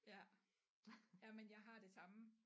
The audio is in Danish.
Ja jamen jeg har det samme